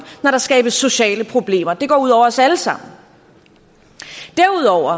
når der skabes sociale problemer det går ud over os alle sammen derudover